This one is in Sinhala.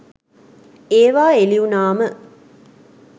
ඒවා එලිවුනාම